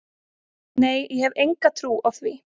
Nei ég hef enga trú á því.